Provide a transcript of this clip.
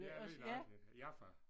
Ja lige nøjagtigt Jaffa